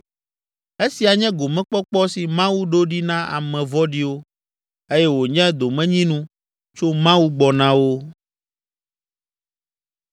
Esia nye gomekpɔkpɔ si Mawu ɖo ɖi na ame vɔ̃ɖiwo, eye wònye domenyinu tso Mawu gbɔ na wo.”